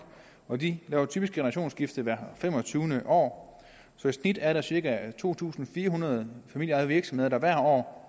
og de laver typisk generationsskifte hvert femogtyvende år så i snit er der cirka to tusind fire hundrede familieejede virksomheder der hvert år